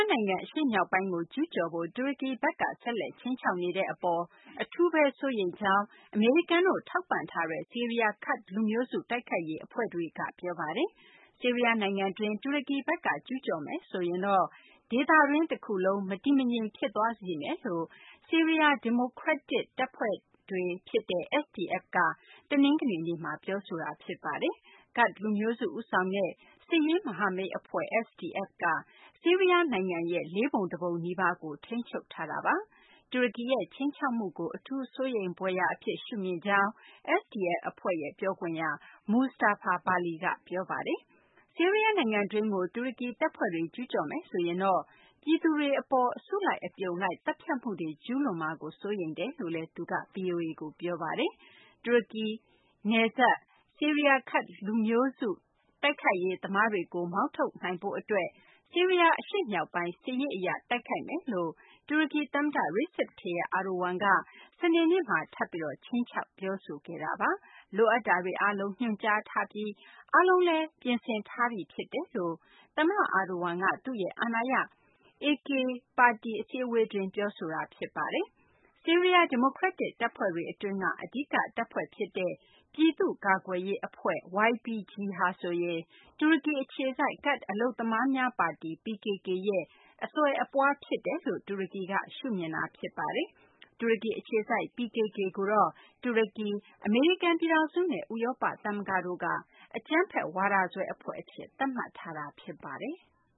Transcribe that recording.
နိုင်ငံ အရှေ့မြောက်ပိုင်းကို ကျူးကျော်ဖို့ တူရကီဘက်က ဆက်လက် ခြိမ်းခြောက်နေတဲ့ အပေါ်မှာ အထူးပဲစိုးရိမ်ကြောင်း အမေရိကန်တို့ ထောက်ပံ့ထားတဲ့ ဆီးရီးယား ကာ့ဒ်လူမျိုးစု တိုက်ခိုက်ရေးအဖွဲ့တွေက ပြောပါတယ်။ ဆီးရီးယားနိုင်ငံတွင်း တူရကီဘက်က ကျူးကျော်မယ်ဆိုရင်တော့ ဒေသတခုလုံး မတည်မငြိမ် ဖြစ်သွားစေမယ်လို့ ဆီးရီးယား ဒီမိုကရက်တစ်တပ်ဖွဲ့ SDF က တနင်္ဂနွေနေ့မှာ ပြောပါတယ်။ ကာ့ဒ်လူမျိုးစု ဦးဆောင်တဲ့ စစ်ရေးမဟာမိတ်အဖွဲ့ SDF က ဆီးရီးယားနိုင်ငံရဲ့ လေးပုံတပုံနီးပါးကို ထိန်းချုပ်ထားတာပါ။ တူရကီရဲ့ ခြိမ်းခြောက်မှုကို အထူးစိုးရိမ်ဖွယ်ရာအဖြစ် ရှုမြင်ကြောင်း SDF အဖွဲ့ရဲ့ ပြောခွင့်ရ Mustafa Bali က ပြောပါတယ်။ ဆီးရီးယားနိုင်ငံတွင်းကို တူရကီတပ်ဖွဲ့တွေ ကျူးကျော်မယ်ဆိုရင်တော့ ပြည်သူတွေအပေါ် အစုလိုက် အပြုံလိုက် သတ်ဖြတ်မှုတွေ ကျူးလွန်မှာကို စိုးရိမ်တယ်လို့ သူက VOA ကို ပြောပါတယ်။ တူရကီနယ်စပ်က ဆီးရီးယား ကာ့ဒ်လူမျိုးစု တိုက်ခိုက်ရေးသမားတွေကို မောင်းထုတ်နိုင်ဖို့အတွက် ဆီးရီးယား အရှေ့မြောက်ပိုင်းကို စစ်ရေးအရ တိုက်ခိုက်မယ်လို့ တူရကီသမ္မတ Recep Tayyip Erdogan က စနေနေ့မှာ ထပ်ပြီး ခြိမ်းခြောက် ပြောဆိုခဲ့တာပါ။ လိုအပ်တာတွေအားလုံး ညွှန်ကြားထားပြီး အားလုံးလည်း ပြင်ဆင်ထားပြီးဖြစ်တယ်လို့ သမ္မတ Erdogan က သူ့ရဲ့ အာဏာရ AK ပါတီ အစည်းအဝေးတွင်း ပြောဆိုခဲ့တာ ဖြစ်ပါတယ်။ ဆီးရီးယား ဒီမိုကရက်တစ်တပ်ဖွဲ့တွေ အတွင်းက အဓိကတပ်ဖွဲ့ဖြစ်တဲ့ ပြည်သူ့ကာကွယ်ရေးအဖွဲ့ YPG ဟာဆိုရင် တူရကီအခြေစိုက် ကာ့ဒ် အလုပ်သမားများ ပါတီ PKK ရဲ့ အဆွယ်အပွားဖြစ်တယ်လို့ တူရကီက ရှုမြင်ထားတာ ဖြစ်ပါတယ်။ တူရကီအခြေစိုက် PKK ကိုတော့ တူရကီ၊ အမေရိကန်ပြည်ထောင်စုနဲ့ ဥရောပသမဂ္ဂ တို့က အကြမ်းဖက်ဝါဒစွဲ အဖွဲ့အဖြစ် သတ်မှတ်ထားတာ ဖြစ်ပါတယ်။